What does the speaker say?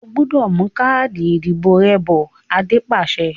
O gbúdọ̀ mú káàdì ìdìbò rẹ bọ̀! Adé pàṣẹ.